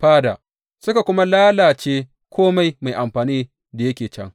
fada, suka kuma lalace kome mai amfani da yake can.